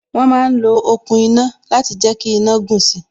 Wọn ma ń lo okùn iná láti jẹ kí iná gùn si